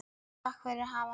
Takk fyrir hann afa.